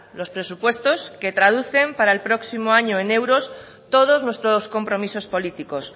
los presupuestos se traducen para el próximo año en euros todos nuestros compromisos políticos